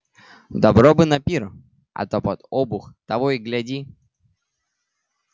добро бы на пир а то под обух того и гляди